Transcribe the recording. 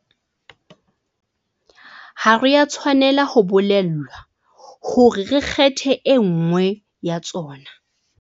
Ha re a tshwanela ho bolellwa hore re kgethe e nngwe ya tsona.